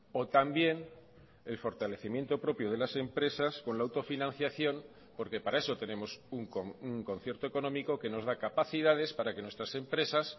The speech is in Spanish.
o también el fortalecimiento propio de las empresas con la autofinanciación porque para eso tenemos un concierto económico que nos da capacidades para que nuestras empresas